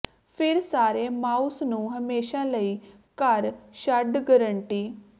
ਫਿਰ ਸਾਰੇ ਮਾਊਸ ਨੂੰ ਹਮੇਸ਼ਾ ਲਈ ਘਰ ਛੱਡ ਗਾਰੰਟੀ